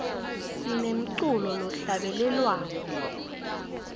sinemculo lohlabelelwako